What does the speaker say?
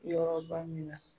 Yɔrɔ ba min na